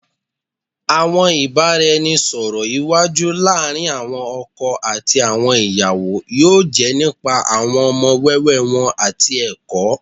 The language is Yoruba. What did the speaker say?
Awọn ibaraẹnisọrọ iwaju laarin awọn ọkọ ati awọn iyawo yoo jẹ nipa awọn ọmọ wẹwẹ wọn ati ẹkọ